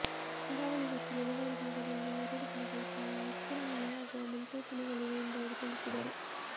ಕರಾವಳಿ ಮತ್ತು ಮಲೆನಾಡು ಭಾಗದಲ್ಲಿ ಎರಡು ದಿನಗಳ ಕಾಲ ಹೆಚ್ಚಿನ ಮಳೆಯಾಗುವ ಮುನ್ಸೂಚನೆಗಳಿವೆ ಎಂದು ಅವರು ತಿಳಿಸಿದರು